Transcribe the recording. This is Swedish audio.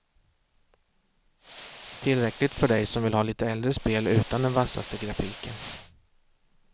Tillräckligt för dig som vill ha lite äldre spel utan den vassaste grafiken.